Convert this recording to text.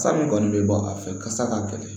San min kɔni bɛ bɔ a fɛ ka sa k'a bɛɛ fɛ